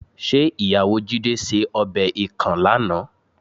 ̀Ṣé ìyàwó Jídé ṣe ọbẹ̀ ikàn lánàá?